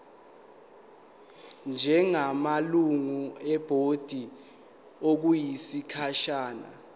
njengamalungu ebhodi okwesikhashana